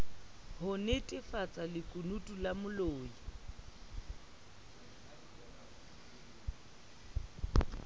ho nnetefatsa lekunutu la molli